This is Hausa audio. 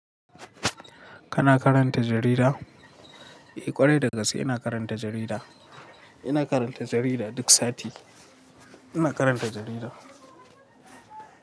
Kana karanta jarida? Eh kwarai da gaske ina karanta jarida. Ina karanta jarida duk sati. Ina karanta jarida.